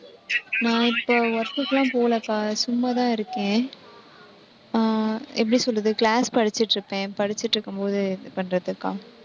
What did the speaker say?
நான் இப்போ work க்கெல்லாம் போகலக்கா, சும்மாதான் இருக்கேன் அஹ் எப்படி சொல்றது class படிச்சுட்டிருப்பேன், படிச்சிட்டிருக்கும்போது, பண்றதுக்கா